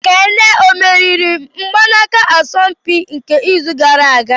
Kane ọ meriri mgbanaka asọmpi nke izu gara aga?